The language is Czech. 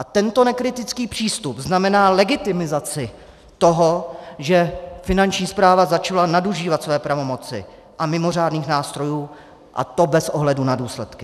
A tento nekritický přístup znamená legitimizaci toho, že Finanční správa začala nadužívat své pravomoci a mimořádných nástrojů, a to bez ohledu na důsledky.